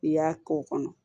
I y'a k'o kɔnɔ